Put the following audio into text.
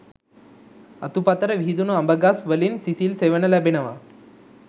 අතුපතර විහිදුන අඹ ගස් වලින් සිසිල් සෙවන ලැබෙනවා